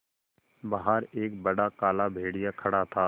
बाहर एक बड़ा काला भेड़िया खड़ा था